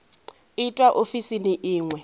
itwa ofisini i ṅ we